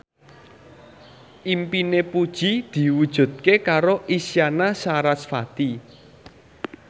impine Puji diwujudke karo Isyana Sarasvati